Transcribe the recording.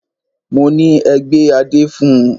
Mọ ní: Ẹ gbé adé fun!